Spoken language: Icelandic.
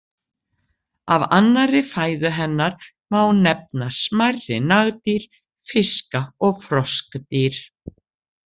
Af annarri fæðu hennar má nefna smærri nagdýr, fiska og froskdýr.